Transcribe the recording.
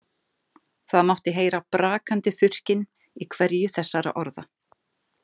Það mátti heyra brakandi þurrkinn í hverju þessara orða.